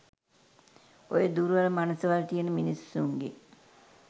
ඔය දුර්වල මනසවල් තියෙන මිස්සුන්ගෙන්